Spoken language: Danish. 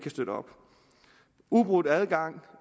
uafbrudt adgang